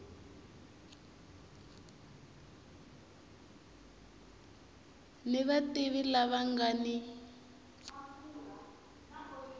ni vativi lava nga ni